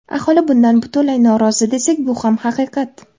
Aholi bundan butunlay norozi desak, bu ham haqiqat.